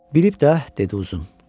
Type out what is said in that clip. Bilib də, dedi Uzun.